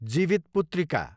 Jivitputrika